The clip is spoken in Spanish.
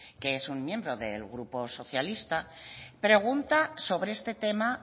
que es un miembro del grupo socialista pregunta sobre este tema